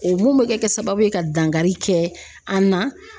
O mun bɛ kɛ sababu ye ka dankari kɛ an na.